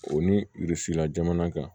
O ni jamana kan